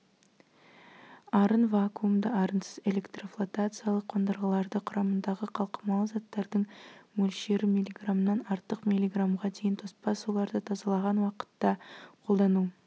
арын вакуумды арынсыз электрофлотациялық қондырғыларды құрамындағы қалқымалы заттардың мөлшері миллиграммнан артық миллиграммға дейін тоспа суларды тазалаған уақытта қолдану